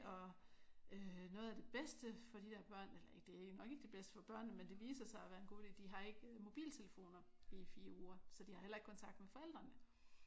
Og noget af det bedste for de der børn eller det er nok ikke det bedste for børnene men det viser sig at være en god idé de har ikke mobiltelefoner i 4 uger. Så de har heller ikke kontakt med forældrene